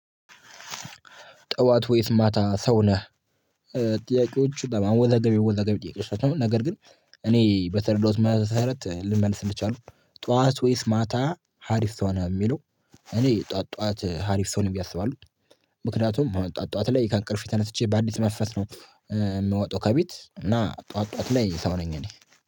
ጠዋት ወይስ ማታ ሰው ነህ? ጥያቄዎቹ በማወዛገብ አወዛጋቢ ጥያቄዎች ናቸው። ነገር ግን እኔ በተረዳሁት መሰረት ልመልስ እችላለው። ጠዋት ወይስ ማታ ሀሪፍ ሰው ነህ ሚለው? እኔ ጠዋት ጠዋት ሀሪፍ ሰው ነኝ ብዬ አስባለው። ምክንያቱም ጠዋት ጠዋት ላይ ከእንቅልፌ ተነስቼ በአዲስ መስፈስ ነው። ምወጣው ከቤት እና ጠዋት ጠዋት ላይ ሰው ነኝ እኔ